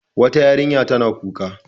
Wata yarinya tana kuka.